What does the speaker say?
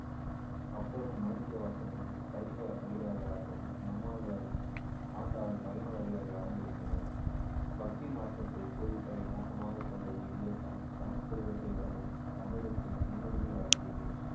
அப்பரும் மாணிக்கவாசகரும் சைவ அடியார்களாகவும் நம்மாழ்வாரும் ஆண்டாளும் வைணவ அடியார்களாகவும் விளங்கினர் பக்தி மார்க்கத்தை போதிப்பதை நோக்கமாகக் கொண்ட இவ்வியக்கம் சமஸ்கிருதத்தை விடவும் தமிழுக்கு முன்னுரிமை வழங்கியது